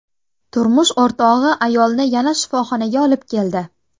Turmush o‘rtog‘i ayolni yana shifoxonaga olib keldi.